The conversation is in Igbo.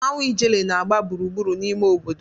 mmanwụ Ijele na-agba gburugburu n'ime obodo.